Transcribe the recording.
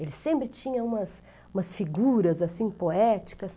Ele sempre tinha umas umas figuras assim poéticas.